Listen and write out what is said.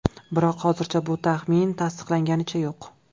Biroq hozircha bu taxmin tasdiqlanganicha yo‘q.